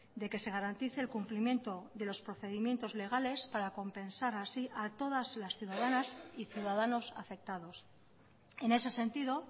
de que se garantice el cumplimiento de los procedimientos legales para compensar así a todas las ciudadanas y ciudadanos afectados en ese sentido